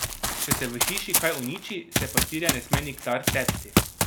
Če se v hiši kaj uniči, se pastirja ne sme nikdar tepsti.